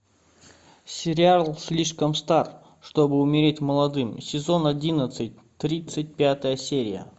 сериал слишком стар чтобы умереть молодым сезон одиннадцать тридцать пятая серия